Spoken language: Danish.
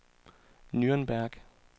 Nürnberg